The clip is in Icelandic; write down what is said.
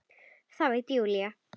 Það veit Júlía.